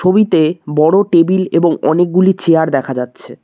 ছবিতে বড়ো টেবিল এবং অনেকগুলি চেয়ার দেখা যাচ্ছে।